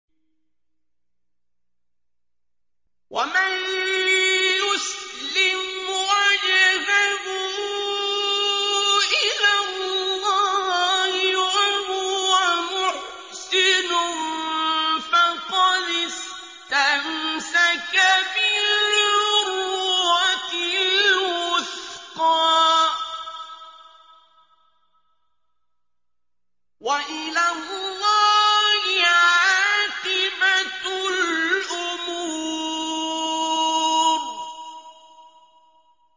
۞ وَمَن يُسْلِمْ وَجْهَهُ إِلَى اللَّهِ وَهُوَ مُحْسِنٌ فَقَدِ اسْتَمْسَكَ بِالْعُرْوَةِ الْوُثْقَىٰ ۗ وَإِلَى اللَّهِ عَاقِبَةُ الْأُمُورِ